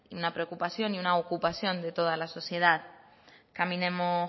una preocupación y una ocupación de toda la sociedad caminemos